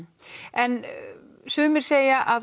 en sumir segja að